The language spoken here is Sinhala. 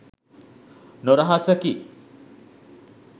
නොරහසකි